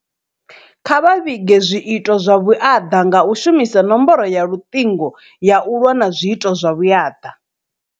Kha vha vhige zwiito zwa vhuaḓa nga u shumisa nomboro ya luṱingo ya u lwa na zwiito vhuyaḓa.